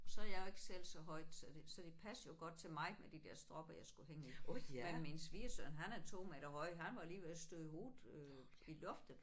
Og så er jeg jo ikke selv så højt så det så det passede jo godt til mig med de der stropper jeg skulle hænge i men min svigersøn han er 2 meter høj han var lige ved at støde hovedet øh i loftet